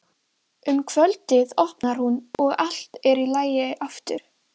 Hann var útlagi sem átti ekkert bakland, engan málsvara.